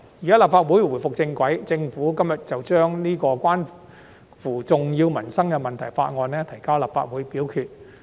現在立法會重回正軌，政府今天便把這項關乎重要民生問題的《條例草案》提交立法會表決。